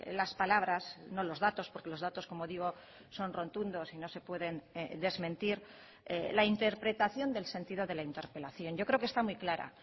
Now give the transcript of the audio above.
las palabras no los datos porque los datos como digo son rotundos y no se pueden desmentir la interpretación del sentido de la interpelación yo creo que está muy clara